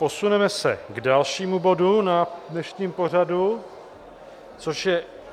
Posuneme se k dalšímu bodu v dnešním pořadu, což je